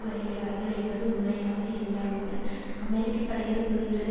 வருகிறார்கள் என்பது உண்மையாக இருந்தால் கூட அமெரிக்க படைகள் புரிந்துள்ள